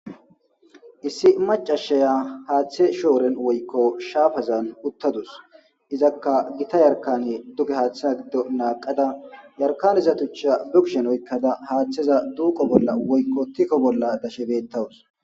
Issi maccasiya hatha shawren woyko shaffazan uttadus izzakka bicca yarkanne duge hatha gido naqada tuchzza bekushn oyqada hathzza duqo woykko tikko bolla dawus